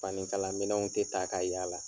Fani kala minɛnw tɛ ta ka yala.